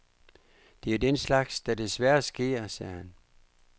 Det er jo den slags, der desværre sker, sagde han.